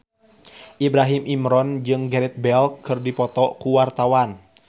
Ibrahim Imran jeung Gareth Bale keur dipoto ku wartawan